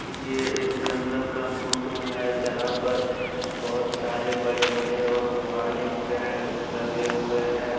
ये एक जंगल का फोटो है जहाँ पर बहोत सारे बड़े-बड़े और पुराने पेड़ लगे हुए हैं।